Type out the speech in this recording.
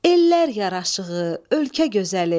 Ellər yaraşığı, ölkə gözəli.